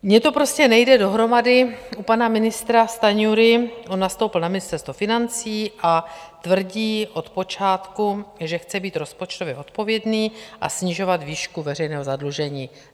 Mně to prostě nejde dohromady u pana ministra Stanjury, on nastoupil na Ministerstvo financí a tvrdí od počátku, že chce být rozpočtově odpovědný a snižovat výšku veřejného zadlužení.